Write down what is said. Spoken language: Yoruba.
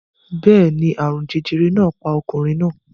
Bẹ́ẹ̀ ni, àrùn jẹjẹrẹ náà pa ọkùnrin náà